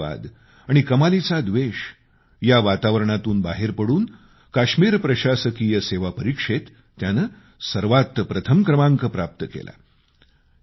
दहशतवाद आणि कमालीचा व्देष या वातावरणातून बाहेर पडून काश्मीर प्रशासकीय सेवा परीक्षेत त्यानं सर्वात प्रथम क्रमांक प्राप्त केला